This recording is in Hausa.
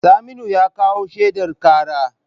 Saminu ya kawo shaidar karar.